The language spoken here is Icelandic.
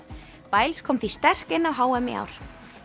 biles kom því sterk inn á h m í ár